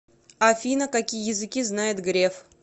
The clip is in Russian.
афина какие языки знает греф